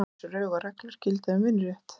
Ýmis rög og reglur gilda um vinnurétt.